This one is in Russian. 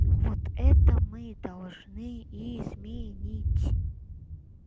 вот это мы должны изменить